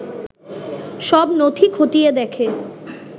সব নথি খতিয়ে দেখে